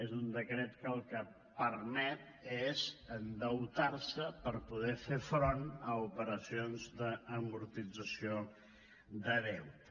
és un decret que el que permet és endeutar se per poder fer front a operacions d’amortització de deute